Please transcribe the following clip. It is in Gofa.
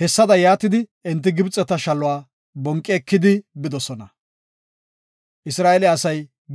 Hessada yaatidi enti Gibxeta shaluwa bonqi ekidi bidosona.